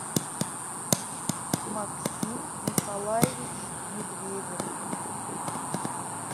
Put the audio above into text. максим николаевич медведев